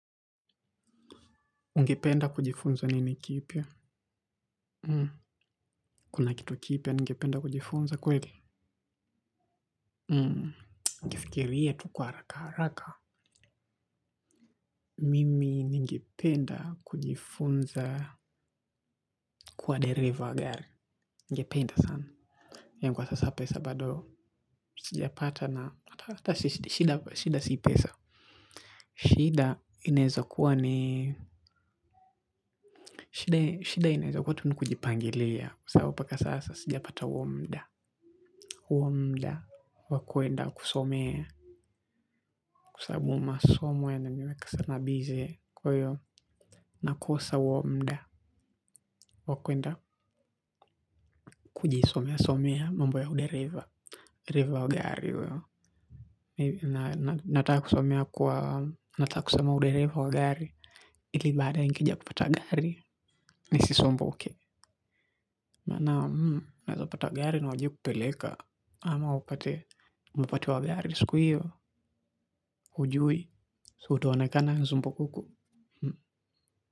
Ningependa kujifunza nini kipia? Kuna kitu kipia ningependa kujifunza kweli? Ningefikirie tuku haraka haraka. Mimi ningependa kujifunza kuwa dereva gari. Ningependa sana. Yangu kwa sasa pesa badoo. Sijapata na hata hata shida si pesa. Shida ineza kuwa ni shida ineza kuwa tu nukujipangilia. Sao mpaka sasa sijapata huwo mda. Uo mda wakwenda kusomea. Kwa sabu ma somo yanani weka sa na bize. Kweyo nakosa uo mda wakwenda kujisomea somea mambo ya udereva dereva wa gari uo. Ninataka kusomea, ninataka kusoma udereva wa gari, ili baadaye nikija kupata gari nisiwe nisisumbuke, maana unaweza pata gari na hujui kupeleka. Ama upate umepatiwa gari, siku hiyo hujui. Si utaonekana zumbukuku.